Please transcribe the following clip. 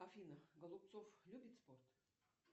афина голубцов любит спорт